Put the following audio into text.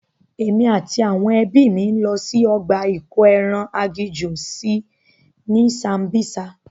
Èmi àti àwọn ẹbí mi lọ sí ọgbà ìkóeran agijù sí ní Sambisa.